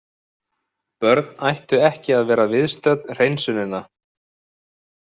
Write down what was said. Börn ættu ekki að vera viðstödd hreinsunina.